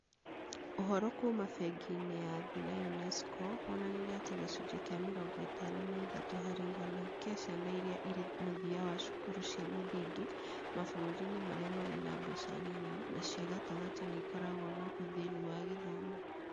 Ũhoro kuuma bengi-inĩ ya thĩ na UNESCO wonanirie atĩ gĩcunjĩ kĩa mĩrongo ĩtano na ithatũ harĩ igana kĩa ciana iria irĩ mũthia wa cukuru cia mũthingi mabũrũri-inĩ marĩa marĩ na mbeca nini na cia gatagatĩ nĩ ikoragwo na ũthĩni wa gĩthomo.